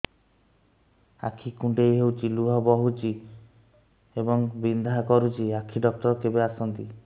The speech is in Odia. ଆଖି କୁଣ୍ଡେଇ ହେଉଛି ଲୁହ ବହୁଛି ଏବଂ ବିନ୍ଧା କରୁଛି ଆଖି ଡକ୍ଟର କେବେ ଆସନ୍ତି